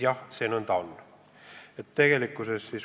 Jah, nõnda see on.